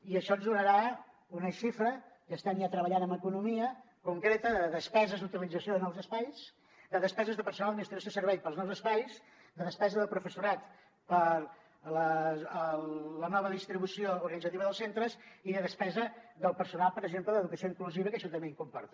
i això ens donarà una xifra que estem ja treballant amb economia concreta de despeses d’utilització de nous espais de despeses de personal d’administració i serveis per als nous espais de despesa de professorat per a la nova distribució organitzativa dels centres i de despesa del personal per exemple d’educació inclusiva que això també comporta